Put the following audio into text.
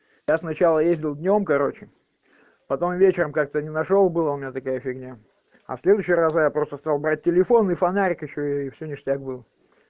я сначала ездил днём короче потом вечером как-то не нашёл было у меня такая фигня а в следующие разы я просто стал брать телефон и фонарик ещё и все ништяк было